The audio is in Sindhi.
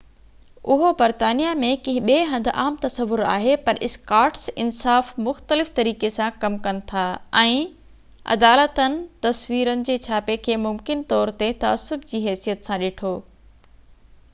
اهو برطانيا ۾ ڪنهن ٻي هنڌ عام دستور آهي پر اسڪاٽس انصاف مختلف طريقي سان ڪم ڪن ٿا ۽ عدالتن تصويرن جي ڇاپي کي ممڪن طور تي تعصب جي حيثيت سان ڏٺو